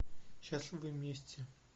счастливы вместе